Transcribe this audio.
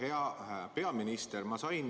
Hea peaminister!